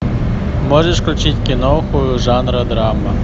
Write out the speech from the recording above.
можешь включить киноху жанра драма